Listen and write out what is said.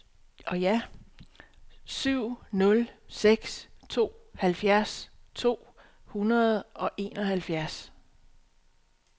syv nul seks to halvfjerds to hundrede og enoghalvfjerds